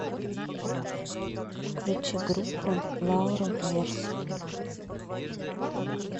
включи группу лаура веирс